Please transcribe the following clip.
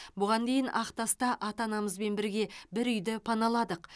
бұған дейін ақтаста ата анамызбен бірге бір үйді паналадық